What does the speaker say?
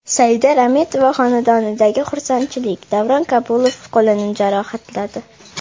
Saida Rametova xonadonidagi xursandchilik, Davron Kabulov qo‘lini jarohatladi.